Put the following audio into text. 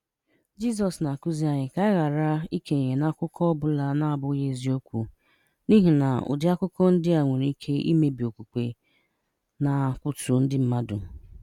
Jizọs na-akụzi anyị ka anyị ghara ikenye n'akụkọ, ọ bụla na-abụghị eziokwu n'ihi na ụdị akụkọ ndị a nwere ike imebi okwukwe na kwatuo ndị mmadụ.